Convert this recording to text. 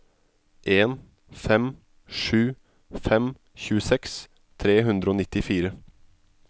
en fem sju fem tjueseks tre hundre og nittifire